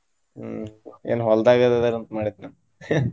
College ಮುಗ್ದಿದೆ next ಕೆಲ್ಸಾ.